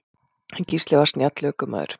En Gísli var snjall ökumaður.